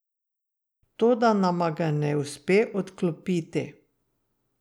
Toda nama ga ne uspe odklopiti.